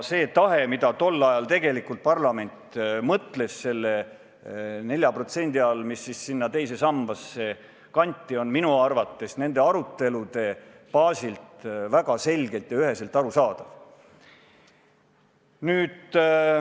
See, mida parlament tol ajal tegelikult mõtles selle 4% all, mis teise sambasse kanti, on minu arvates nende arutelude baasil väga selgelt ja üheselt arusaadav.